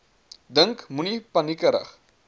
dink moenie paniekerig